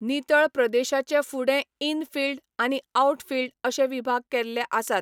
नितळ प्रदेशाचे फुडें 'इनफील्ड', आनी 'आउटफील्ड' अशे विभाग केल्ले आसात.